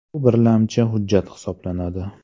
Bu birlamchi hujjat hisoblanadi.